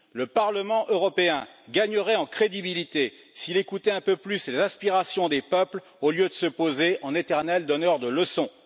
Le Parlement européen gagnerait en crédibilité s'il écoutait un peu plus les aspirations des peuples au lieu de se poser en éternel donneur de leçons.